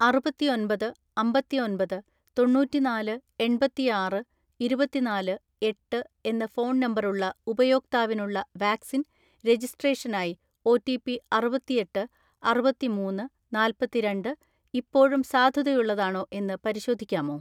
അറുപത്തിഒന്‍പത് അമ്പത്തിഒന്‍പത് തൊണ്ണൂറ്റിനാല് എണ്‍പത്തിആറ് ഇരുപത്തിനാല് എട്ട് എന്ന ഫോൺ നമ്പറുള്ള ഉപയോക്താവിനുള്ള വാക്സിൻ രജിസ്ട്രേഷനായി ഒ.റ്റി.പി അറുപത്തിഎട്ട് അറുപത്തിമൂന്ന് നാല്‍പത്തിരണ്ട് ഇപ്പോഴും സാധുതയുള്ളതാണോ എന്ന് പരിശോധിക്കാമോ?